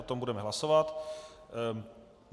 O tom budeme hlasovat.